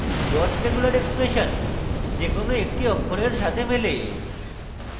dot regular expression the কোনো একটি অক্ষরের সাথে মেলে